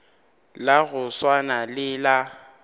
la go swana le la